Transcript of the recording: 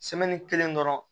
kelen dɔrɔn